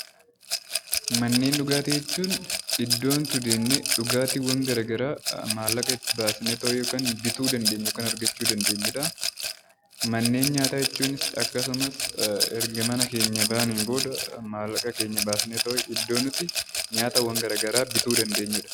Manneen dhugaatii jechuun iddoo nuti deemnee dhugaatiiwwan garaagaraa mallaqa itti baasnee yookaan bituu dandeenyu yookiin argachuu dandeenyu. Manneen nyaataa jechuun akkasumas erga mana keenyaa baanee, maallaqa keenya baasnee iddoo nuti nyaataawwan garaagaraa bituu dandeenyudha.